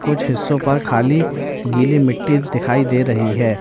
कुछ हिस्सों पर खाली गीली मिट्टी दिखाई दे रही है।